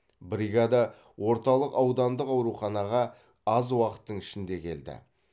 бригада орталық аудандық ауруханаға аз уақыттың ішінде келді